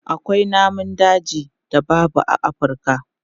Akwai namun dajin da babu a Afurka.